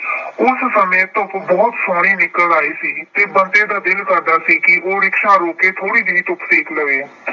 ਉਸ ਸਮੇਂ ਧੁੱਪ ਬਹੁਤ ਸੋਹਣੀ ਨਿਕਲ ਆਈ ਸੀ ਤੇ ਬੰਤੇ ਦਾ ਦਿਲ ਕਰਦਾ ਸੀ ਕਿ ਉਹ rickshaw ਰੋਕ ਕੇ ਥੋੜੀ ਜਿਹੀ ਧੁੱਪ ਸੇਕ ਲਵੇ।